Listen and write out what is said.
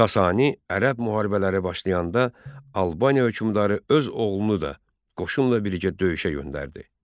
Sasani-Ərəb müharibələri başlayanda Albaniya hökmdarı öz oğlunu da qoşunla birlikdə döyüşə göndərdi.